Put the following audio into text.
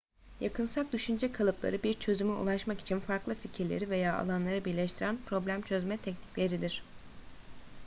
yakınsak düşünce kalıpları bir çözüme ulaşmak için farklı fikirleri veya alanları birleştiren problem çözme teknikleridir